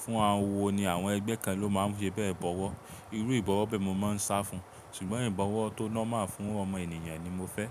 fún àwo ni àwọn ẹgbẹ́ kan ló máa ń fi bẹ́ẹ̀ bọwọ́. Irú ìbọwọ́ bẹ́ẹ̀ mo máa ń sá fún, ṣùgbọ́n ìbọwọ́ tó nọ́mà fún ọmọ ènìyàn ni mo fẹ́